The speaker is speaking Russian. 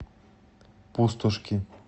пустошки